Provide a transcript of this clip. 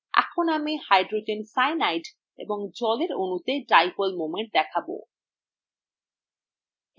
এখন আমি hydrogen cyanide H C in এবং জলের অণুতে dipole moment দেখাব